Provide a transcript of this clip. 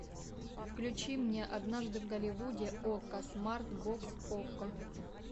включи мне однажды в голливуде окко смарт бокс окко